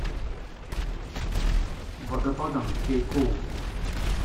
водопадом кейкул